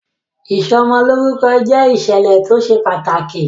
Ìsọ'mọlórúkọ jẹ ìṣẹ̀lẹ̀ tó ṣe pàtàkì